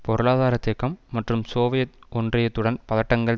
பொருளாதார தேக்கம் மற்றும் சோவியத் ஒன்றியத்துடன் பதட்டங்கள்